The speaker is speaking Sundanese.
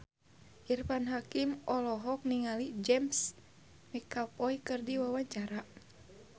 Irfan Hakim olohok ningali James McAvoy keur diwawancara